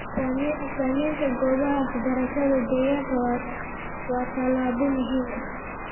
Samaynta goobaha waxbarashada deegaanka waa tallaabo muhiim ah.